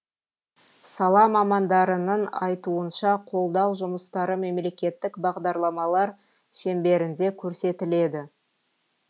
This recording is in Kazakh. сала мамандарының айтуынша қолдау жұмыстары мемлекеттік бағдарламалар шеңберінде көрсетіледі